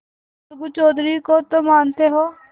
अलगू चौधरी को तो मानते हो